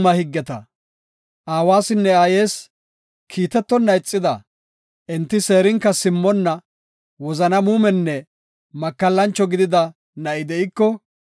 Aawasinne aayes kiitetonna ixida, enti seerinka simmonna, wozana muumenne makallancho gidida na7i de7iko,